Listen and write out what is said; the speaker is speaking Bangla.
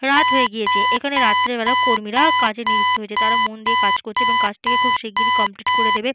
রাত হয়ে গিয়েছে। এখানে রাত্রে বেলা কর্মীরা-আ কাজে নিযুক্ত হয়েছে। তারা মন দিয়ে কাজ করছে এবং কাজটিকে খুব শিগগিরি কমপ্লিট করে দেবে।